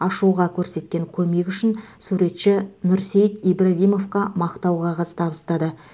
ашуға көрсеткен көмегі үшін суретші нұрсейіт ибрагимовқа мақтау қағаз табыстады